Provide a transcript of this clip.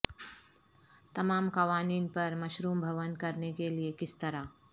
تمام قوانین پر مشروم بھون کرنے کے لئے کس طرح